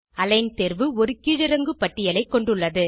align தேர்வு ஒரு கீழிறங்கு பட்டியலைக் கொண்டுள்ளது